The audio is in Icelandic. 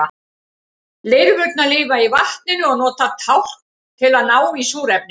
lirfurnar lifa í vatninu og nota tálkn til að ná í súrefni